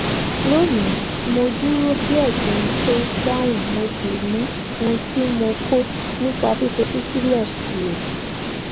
lónìí mo dúró díè kí n tó dáhùn mo sì mu ohun tí mo kó nípa fífetí sílè lò